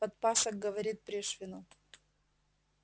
подпасок говорит пришвину